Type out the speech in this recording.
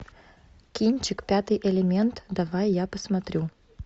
кинчик пятый элемент давай я посмотрю